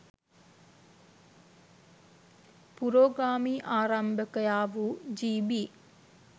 පුරෝගාමී ආරම්භකයා වූ ජී.බී.